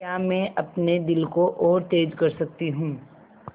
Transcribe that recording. क्या मैं अपने दिल को और तेज़ कर सकती हूँ